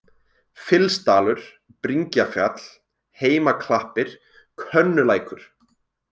Fylsdalur, Bringjafjall, Heimaklappir, Könnulækur